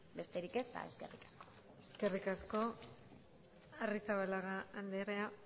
besterik ez eskerrik asko eskerrik asko arrizabalaga andrea